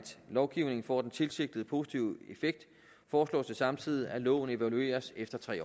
lovgivningen får den tilsigtede positive effekt foreslås det samtidig at loven evalueres efter tre